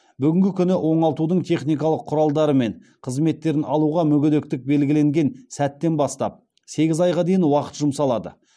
бүгінгі күні оңалтудың техникалық құралдары мен қызметтерін алуға мүгедектік белгіленген сәттен бастап сегіз айға дейін уақыт жұмсалады